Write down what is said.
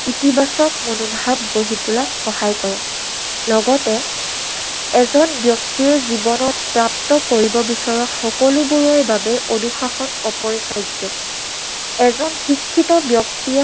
ইতিবাচক মনোভাৱ গঢ়ি তোলাত সহায় কৰে। লগতে এজন ব্যক্তিৰ জীৱনত প্ৰাপ্ত কৰিব বিচৰা সকলোবোৰৰ বাবে অনুশাসন অপৰিহাৰ্য। এজন শিক্ষিত ব্যক্তিয়ে